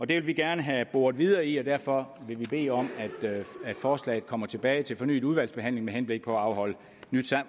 det vil vi gerne have boret videre i og derfor vil vi bede om at forslaget kommer tilbage til fornyet udvalgsbehandling med henblik på at afholde nyt